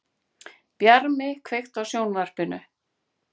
Bjarmi, kveiktu á sjónvarpinu.